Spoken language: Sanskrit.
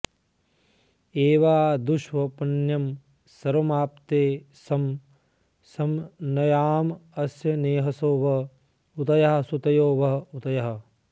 एवा दुष्ष्वप्न्यं सर्वमाप्त्ये सं नयामस्यनेहसो व ऊतयः सुतयो व ऊतयः